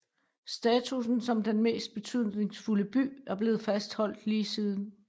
Statussen som den mest betydningsfulde by er blevet fastholdt lige siden